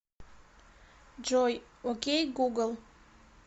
джой окей гугл